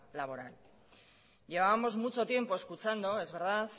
laboral llevábamos mucho tiempo escuchando es verdad